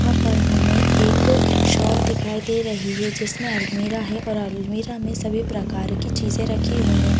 वहाँ पर हमें एक शॉप दिखाई दे रही है जिसमें अलमीरा है और अलमीरा में सभी प्रकार की चीजें रखी हुई है।